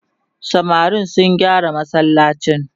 samarin sun gyara masallacin